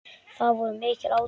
Það voru mikil átök.